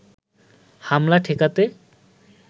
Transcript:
হামলা ঠেকাতে